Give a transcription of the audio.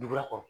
Duguba kɔnɔ